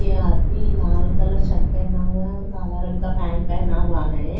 ये आदमी लाल कलर शर्ट पहना हुआ है और काला रंग का पैंट पहना हुआ है।